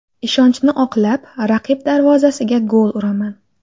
Ishonchni oqlab, raqib darvozasiga gol uraman.